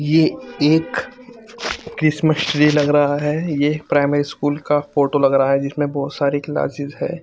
ये एक Christmas tree लग रहा है ये प्राइमेरी स्कूल का फोटो लग रहा है जिसमे बहुत सारे क्लासेस है ।